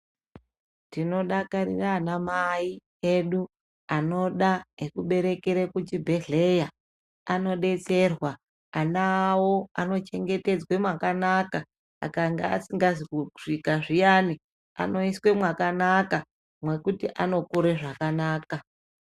Tinodakarira ana mai edu ekuberekera kuchibhedhlera anodetserwa ana awo anochengetedzwa mwakanaka akanga asina kusvika zviyani anoiswa mwakanaka mwekuti anokura zvakanaka.